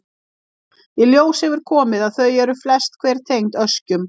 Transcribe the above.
Í ljós hefur komið að þau eru flest hver tengd öskjum.